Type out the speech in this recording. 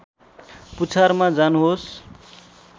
पुछारमा जानुहोस्